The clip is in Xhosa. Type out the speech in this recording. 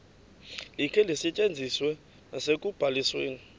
likhe lisetyenziswe nasekubalisweni